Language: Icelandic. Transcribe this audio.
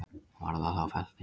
Var það þá fellt niður